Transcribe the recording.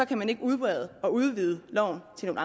kan udbrede det og udvide loven til at